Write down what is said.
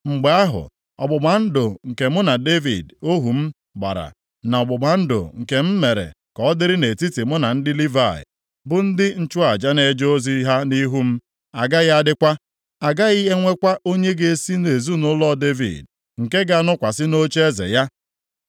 mgbe ahụ ọgbụgba ndụ nke mụ na Devid ohu m gbara, na ọgbụgba ndụ nke m mere ka ọ dịrị nʼetiti mụ na ndị Livayị, bụ ndị nchụaja na-eje ozi ha nʼihu m, agaghị adịkwa. A gaghị enwekwa onye ga-esi nʼezinaụlọ Devid nke ga-anọkwasị nʼocheeze ya.